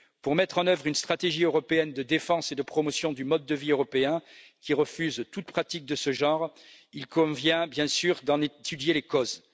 Pour mettre en œuvre une stratégie européenne de défense et de promotion du mode de vie européen qui refuse toute pratique de ce genre, il convient bien sûr d'en étudier les causes.